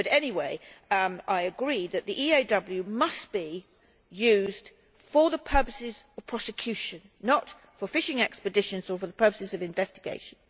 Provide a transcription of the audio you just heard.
But anyway, I agree that the EAW must be used for the purposes of prosecution, not for fishing expeditions or for the purposes of investigation.